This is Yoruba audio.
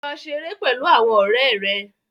Lọ ṣeré pẹ̀lú àwọn ọ̀rẹ́ rẹ.